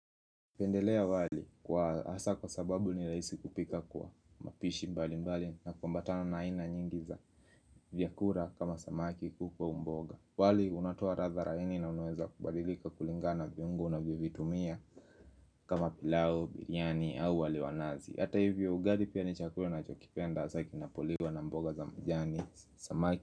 Napendelea wali kwa hasa kwa sababu ni raisi kupika kwa mapishi mbali mbali na kuambatana na aina nyingi za vyakula kama samaki kuku ua mboga wali unatoa radha laini na unaweza kubadilika kulinga na viungo unavyovitumia kama pilau, biriani au wali wa nazi Hata hivyo ugali pia ni chakula na chokipenda hasa kinapoliwa na mboga za majani samaki.